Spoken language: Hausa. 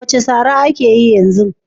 What slang is trending now?